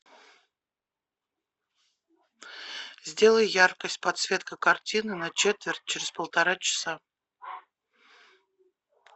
сделай яркость подсветка картины на четверть через полтора часа